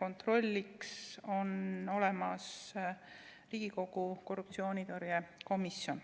kontrollimiseks on olemas Riigikogu korruptsioonitõrje komisjon.